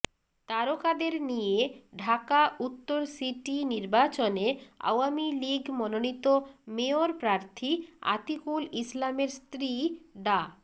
তারকাদের নিয়ে ঢাকা উত্তর সিটি নির্বাচনে আওয়ামী লীগ মনোনীত মেয়র প্রার্থী আতিকুল ইসলামের স্ত্রী ডা